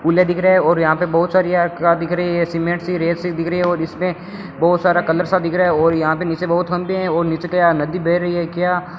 फूले दिख रहे हैं और यहां पे बहुत सारी एयर कॉरपट का दिख रही है सीमेंट सी रेत सी दिख रही है और इसमें बहुत सारा कलर सा दिख रहा है और यहां पे नीचे बहुत थंभे हैं और नीचे क्या नदी बह रही है क्या।